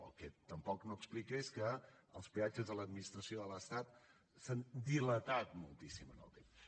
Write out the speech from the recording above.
el que tampoc no explica és que els peatges de l’administració de l’estat s’han dilatat moltíssim en el temps